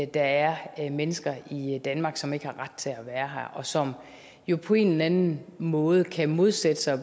der er mennesker i danmark som ikke har ret til at være her og som jo på en eller anden måde kan modsætte sig